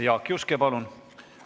Jaak Juske, palun!